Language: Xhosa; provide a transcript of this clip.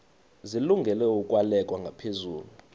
zilungele ukwalekwa ngaphezulu